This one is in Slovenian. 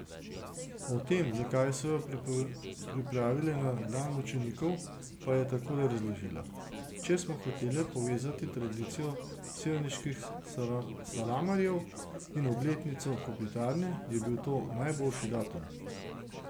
O tem, zakaj so jo pripravile na Dan mučenikov, pa je takole razložila: 'Če smo hotele povezati tradicijo sevniških salamarjev in obletnico Kopitarne, je bil to najboljši datum.